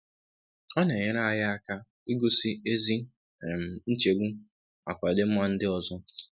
um Ọ na-enyere anyị aka igosi ezi um nchegbu maka ọdịmma ndị um ọzọ.